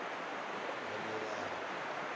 yamerari